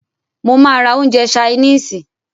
Mó máà rá oúnjẹ ṣainisi.